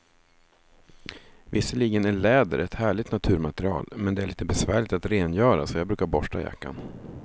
Visserligen är läder ett härligt naturmaterial, men det är lite besvärligt att rengöra, så jag brukar borsta jackan.